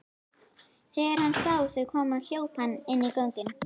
Þegar hann sá þau koma hljóp hann inn göngin.